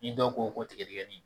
ni dɔw ko ko tigadɛgɛnin